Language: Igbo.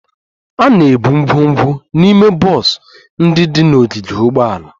A na-ebu ngwongwo n'ime bọs ndị dị n'ogige ụgbọala